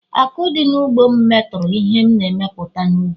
Àkụ̀ dị n’ugbo m metụrụ ihe m na-emepụta n’ubi